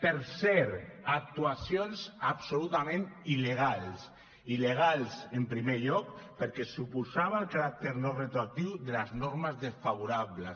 per cert actuacions absolutament il·legals il·legals en primer lloc perquè suposava el caràcter no retroactiu de les normes desfavorables